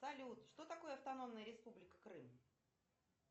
салют что такое автономная республика крым